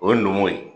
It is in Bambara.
O ye numu ye